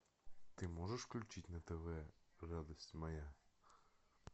ты можешь включить на тв радость моя